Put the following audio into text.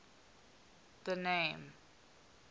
the name